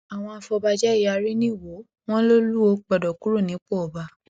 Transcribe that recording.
àwọn afọbajẹ yarí nìwòo wọn lolùwòo gbọdọ kúrò nípò ọba